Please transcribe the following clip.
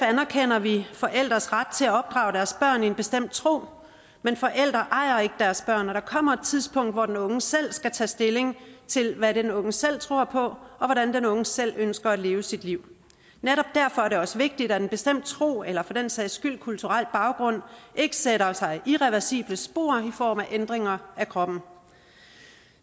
anerkender vi forældres ret til at opdrage deres børn i en bestemt tro men forældre ejer ikke deres børn og der kommer et tidspunkt hvor den unge selv skal tage stilling til hvad den unge selv tror på og hvordan den unge selv ønsker at leve sit liv netop derfor er det også vigtigt at en bestemt tro eller for den sags skyld kulturel baggrund ikke sætter sig irreversible spor i form af ændringer af kroppen